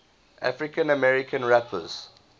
african american rappers